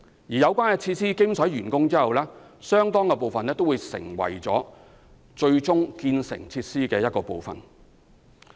當有關設施完工後，相當部分的用地會成為該設施的一部分。